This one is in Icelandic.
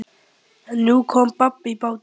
En nú kom babb í bátinn.